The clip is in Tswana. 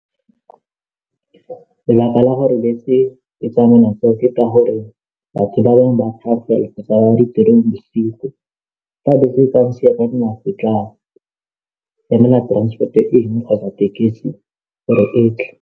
Lebaka la gore bese e tsamaya ke ka gore batho ba bangwe bosigo fa bese e ka ntshia ke tla emela transport engwe kgotsa tekesi gore etle.